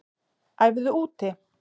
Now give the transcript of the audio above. Æfðu úti